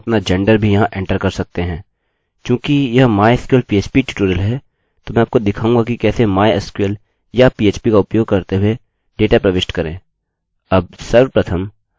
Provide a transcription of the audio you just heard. चूँकि यह mysql php tutorial है तो मैं आपको दिखाऊँगा कि कैसे mysql या php का उपयोग करते हुए डेटा प्रविष्ट करें